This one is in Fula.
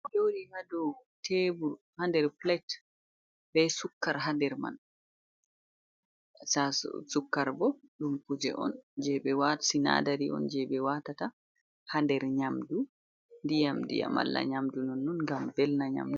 Joɗi hado tebul ha nder plate be sukar ha nder man, sukkarbo dun kuje on je be watati sinadari on je ɓe watata ha nder nyamdu dyamdia mala nyamdu nonnon ngam velna nyamdu.